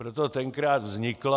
Proto tenkrát vznikla...